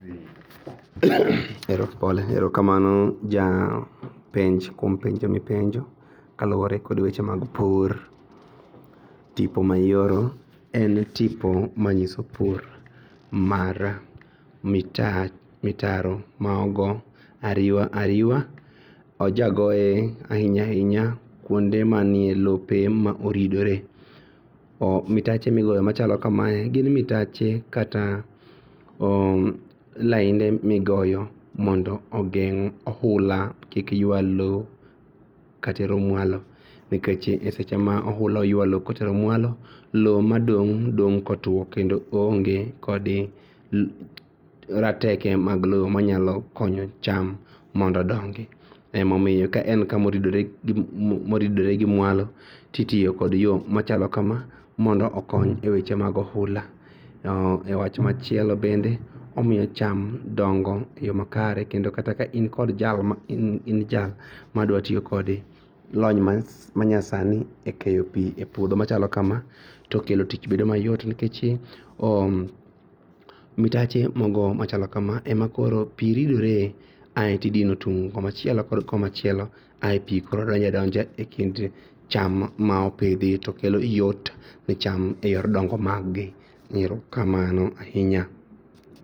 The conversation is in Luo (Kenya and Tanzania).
Erokamano japenj kuom penjo mipenjo kaluore kod weche mag pur. Tipo ma ioro en tipo manyiso pur mar mitaro maogo ariwa ariwa. Ojagagoye ainya ainya kuonde manie lope maoridore. Mitache migoyo machalo kamae gin mitache kata lainde migoyo mondo ogeng' oula kik yua loo katero mwalo nikech e seche ma oula oyua loo kotero mualo loo madong' dong' kotuo kendo oonge kod rateke mag loo manyalo konyo cham mondo odongi emomiyo ka en kumoridore gi mwalo titiyo kod yoo machalo kamaa mondo okony e weche mag ohula.E wach machielo bende omio cham dongo e yoo makare. Kendo kata ka in kod jal madwatiyo kode lony manyasani e keyo pii e puodho machalo kama tokendo tich bedo mayot nikech mitache machalo kama ema koro pii ridre ae tidino tung' komachielo komachielo ae pii donja donja e kind cham ma opidhi to kelo yot ne cham eyor dongo maggi. Erokamano ainya.